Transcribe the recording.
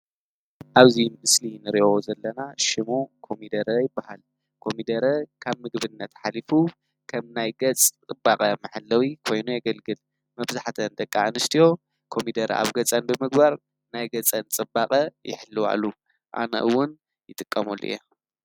ኣብዙይ ምስሊ ንርእዮ ዘለና ሽሙ ኮሚደረ ይበሃል ኮሚደረ ካብ ምግብነት ኃሊፉ ኸም ናይገጽ ጥባቐ መሓለዊ ኮይኖ የገልግል መብዛሕተ ንደቃኣንሽትዮ ኮሚደረ ኣብ ገጸን ብምግባር ናይ ገጸን ጽባቐ የሕልዋሉ ኣነእውን ይትቀመሉ እየ።